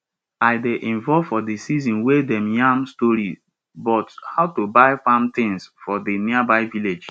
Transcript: i dey involve for di session wey dem yarn story bout how to buy farm tins for di nearby village